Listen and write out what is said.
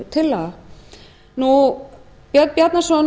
tillaga hæstvirts dómsmálaráðherra björn bjarnason